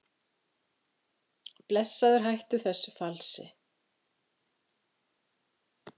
Blessaður hættu þessu falsi!